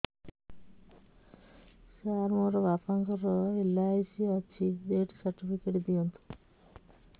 ସାର ମୋର ବାପା ଙ୍କର ଏଲ.ଆଇ.ସି ଅଛି ଡେଥ ସର୍ଟିଫିକେଟ ଦିଅନ୍ତୁ